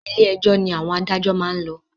Ilé ẹjọ́ ni àwọn adájọ́ maá n lọ